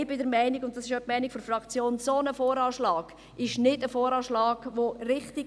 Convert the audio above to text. Ich bin der Meinung, und damit vertrete ich auch die Meinung der Fraktion, ein solcher VA sei nicht richtig.